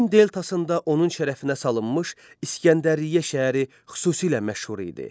Nilin deltasında onun şərəfinə salınmış İsgəndəriyyə şəhəri xüsusilə məşhur idi.